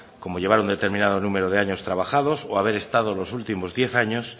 como llevar un determinado número de años trabajados o haber estado los últimos diez años